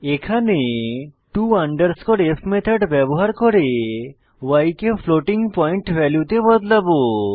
এখানে to f method ব্যবহার করে y কে ফ্লোটিং পয়েন্ট ভ্যালুতে বদলাবো